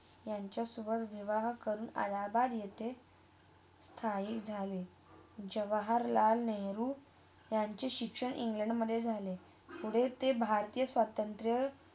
त्यांचा सोबत विवाह करून अलाहाबाद इथे स्थाही झाले जवाहरलाल नेहरू शिक्षण इंग्लंड मधे झाले पुढे ते भरतीया स्वतंत्र